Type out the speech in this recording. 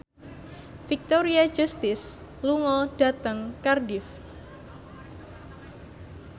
Victoria Justice lunga dhateng Cardiff